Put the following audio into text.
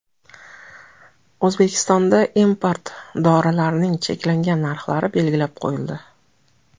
O‘zbekistonda import dorilarning cheklangan narxlari belgilab qo‘yildi.